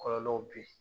Kɔlɔlɔw be ye